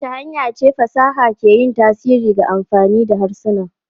Ta wace hanya ce fasaha ke yin tasiri ga amfani da harsuna?